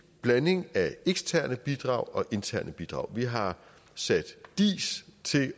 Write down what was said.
blanding af eksterne bidrag og interne bidrag vi har sat diis til